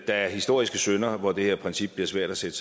der er historiske synder hvor det her princip bliver svært at sætte